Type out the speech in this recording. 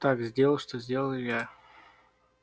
так сделал что сделал илья